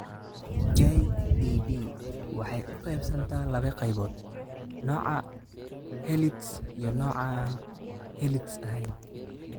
JEB waxay u qaybsantaa laba qaybood: nooca Herlitz iyo nooca aan Herlitz ahayn.